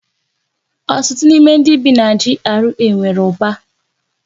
Ọtụtụ n'ime ndị bi na GRA nwere ụba.